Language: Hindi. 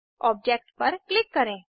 ऑब्जेक्ट पर क्लिक करें